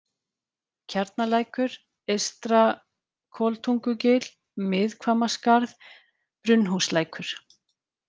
Kjarnalækur, Eystra-Koltungugil, Miðhvammaskarð, Brunnhúslækur